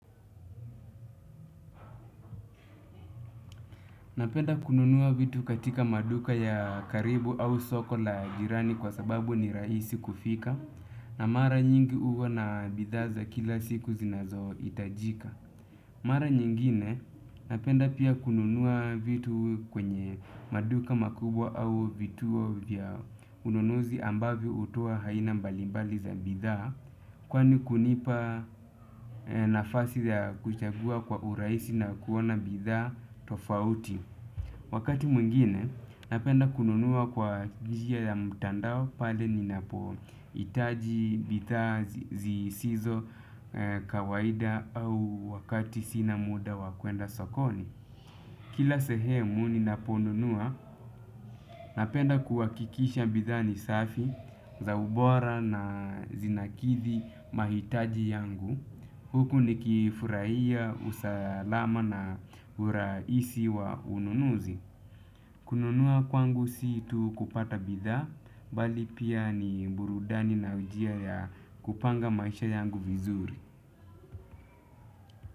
Napenda kununua vitu katika maduka ya karibu au soko la jirani kwa sababu ni rahisi kufika. Na mara nyingi huwa na bidhaa za kila siku zinazohitajika. Mara nyingine napenda pia kununua vitu kwenye maduka makubwa au vituo vya ununuzi ambavyo utuwa haina mbalimbali za bidhaa. Kwani kunipa nafasi ya kuchagua kwa urahisi na kuona bidhaa tofauti. Wakati mwingine, napenda kununua kwa njia ya mtandao pale ninapohitaji bidhaa zisizo kawaida au wakati sina muda wakuenda sokoni. Kila sehemu ninaponunua, napenda kuhakikisha bidhaa ni safi za ubora na zinakithi mahitaji yangu. Huku nikifurahia usalama na urahisi wa ununuzi. Kununua kwangu si tu kupata bidhaa, bali pia ni burudani na njia ya kupanga maisha yangu vizuri.